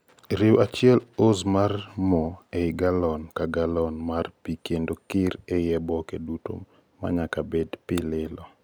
riw 1 oz mar moo ei gallon ka gallon mar pii kendo kir ei oboke duto manyaka bed pii lilo